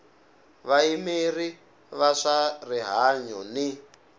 vayimeri va swa rihanyu ni